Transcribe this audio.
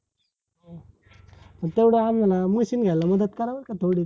तेव्हड आणल ना machine घ्यायला मदत कराल का, थोडी?